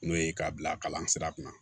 N'o ye k'a bila kalan sira kunna